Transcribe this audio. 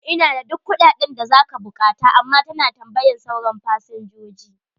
Ina da duk kuɗaɗen da za ka buƙata, amma ta na tambayan sauran fasinjoji.